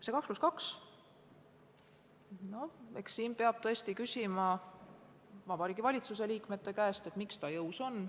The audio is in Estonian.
See 2 + 2, no eks siin peab tõesti küsima Vabariigi Valitsuse liikmete käest, miks ta jõus on.